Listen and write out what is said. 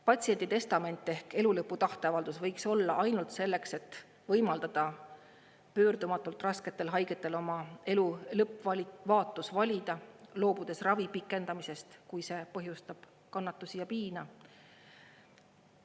Patsiendi testament ehk elu lõpu tahteavaldus võiks olla ainult selleks, et võimaldada pöördumatult rasketel haigetel oma elu lõppvaatus valida, loobudes ravi pikendamisest, kui see põhjustab kannatusi ja piina.